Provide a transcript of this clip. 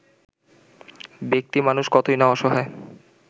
ব্যাক্তিমানুষ কতই না অসহায়